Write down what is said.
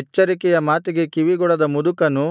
ಎಚ್ಚರಿಕೆಯ ಮಾತಿಗೆ ಕಿವಿಗೊಡದ ಮುದಕನೂ